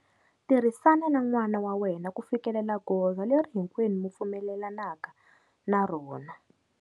Tirhisana na n'wana wa wena ku fikelela goza leri hinkwenu mi pfumelelanaka na rona.